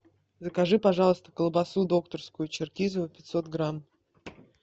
закажи пожалуйста колбасу докторскую черкизово пятьсот грамм